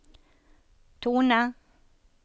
tone